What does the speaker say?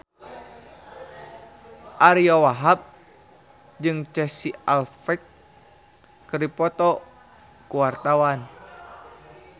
Ariyo Wahab jeung Casey Affleck keur dipoto ku wartawan